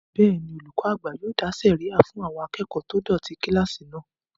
Bẹ́ẹ̀ni, olùkọ́ àgbà yóò dá sẹ̀ríyà fún àwọn akẹ́kọ̀ọ́ tó dọ̀tí kílásì náà